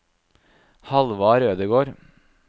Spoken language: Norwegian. Halvard Ødegård